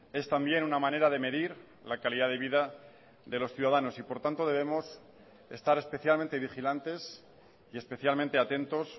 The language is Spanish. es también una manera de medir la calidad de vida de los ciudadanos y por tanto debemos estar especialmente vigilantes y especialmente atentos